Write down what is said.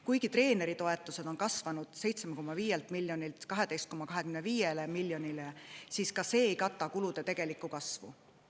Kuigi treeneritoetused on kasvanud 7,5 miljonilt 12,25 miljonile, siis ka see ei kata kulude kasvu.